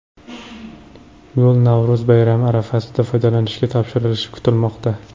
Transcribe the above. Yo‘l Navro‘z bayrami arafasida foydalanishga topshirilishi kutilmoqda.